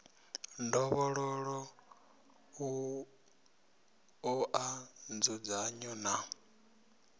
ndovhololo u oa nzudzanyo na